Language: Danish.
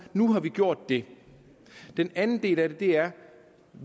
nu har vi gjort det den anden del af det er at